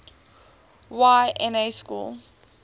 y na schools